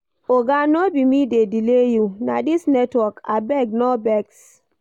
Oga no be me dey delay you, na dis network. Abeg no vex.